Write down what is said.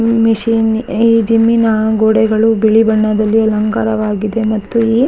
ಈ ಮಿಷಿನ್ ಈ ಜಿಮ್ನ ಗೋಡೆಗಳು ಬಿಳಿ ಬಣ್ಣದಲ್ಲಿ ಅಲಂಕಾರವಾಗಿದೆ ಮತ್ತು ಈ ಇಲ್ಲಿ --